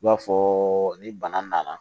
I b'a fɔ ni bana nana